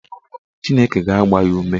Chineke ga-agba ya ume.